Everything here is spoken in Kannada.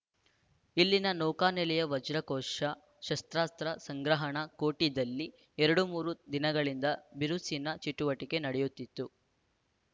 ಇಲ್ಲಿನ ನೌಕಾನೆಲೆಯ ವಜ್ರಕೋಶ ಶಸ್ತ್ರಾಸ್ತ್ರ ಸಂಗ್ರಹಣಾ ಕೋಠಿದಲ್ಲಿ ಎರಡು ಮೂರು ದಿನಗಳಿಂದ ಬಿರುಸಿನ ಚಟುವಟಿಕೆ ನಡೆಯುತ್ತಿತ್ತು